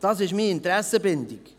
Das ist meine Interessenbindung.